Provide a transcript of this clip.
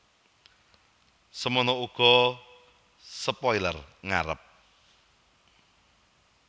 Semana uga spoiler ngarep